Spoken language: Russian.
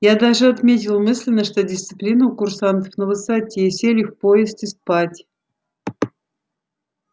я даже отметил мысленно что дисциплина у курсантов на высоте сели в поезд и спать